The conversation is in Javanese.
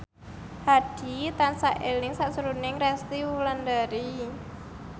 Hadi tansah eling sakjroning Resty Wulandari